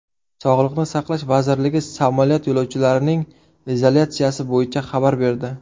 Sog‘liqni saqlash vazirligi samolyot yo‘lovchilarining izolyatsiyasi bo‘yicha xabar berdi .